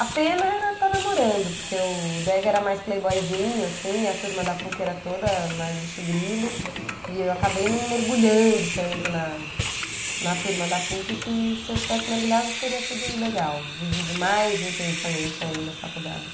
A pena era estar namorando, porque o Dega era mais playboyzinho, assim, e a turma da Puc era toda mais bicho-grilo, e eu acabei não mergulhando tanto na na turma da Puc, que se eu tivesse mergulhado teria sido legal, vivido mais intensamente ainda a faculdade.